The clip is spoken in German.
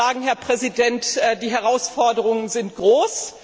Ich kann nur sagen, Herr Präsident, die Herausforderungen sind groß.